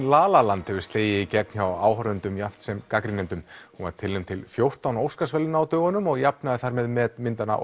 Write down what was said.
la la land hefur slegið í gegn hjá áhorfendum jafnt sem gagnrýnendum hún var tilnefnd til fjórtán Óskarsverðlauna á dögunum og jafnaði þar með met myndanna